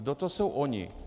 Kdo to jsou oni?